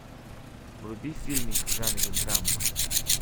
вруби фильмик в жанре драма